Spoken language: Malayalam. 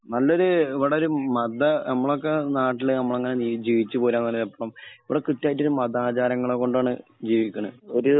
നല്ലൊരു ഇവിടേ മത മ്മളൊക്കെയ് നാട്ടിലേ മ്മളൊക്കെയ് ജീവിച്ച് പോരുന്ന ഇവിടേ കൃത്യമായിട് ഒരു മതാചാരങ്ങൾ കൊണ്ടാണ് ജീവികുന്നത് ഒരു